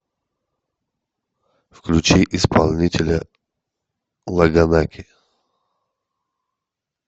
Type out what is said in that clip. включи исполнителя лагонаки